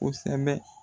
Kosɛbɛ